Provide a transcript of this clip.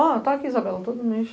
Tá aqui, Isabela, todo mês.